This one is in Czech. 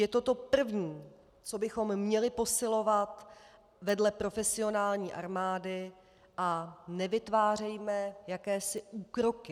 Je to to první, co bychom měli posilovat vedle profesionální armády, a nevytvářejme jakési úkroky.